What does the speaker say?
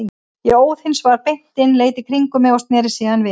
Ég óð hins vegar beint inn, leit í kringum mig og sneri síðan við.